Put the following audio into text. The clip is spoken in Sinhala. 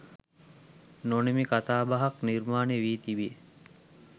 නොනිමි කතාබහක් නිර්මාණය වී තිබේ